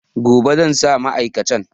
Gobe zan sa mai a kacan